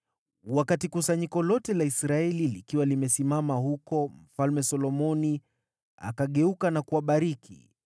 Kusanyiko lote la Israeli lilipokuwa limesimama hapo, mfalme akageuka na kuwabariki.